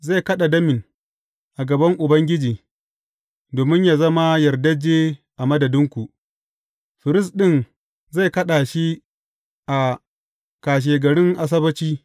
Zai kaɗa damin a gaban Ubangiji domin yă zama yardajje a madadinku; firist ɗin zai kaɗa shi a kashegarin Asabbaci.